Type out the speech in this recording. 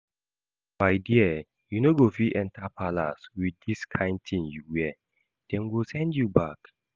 My dear you no go fit enter palace with dis kyn thing you wear, dem go send you back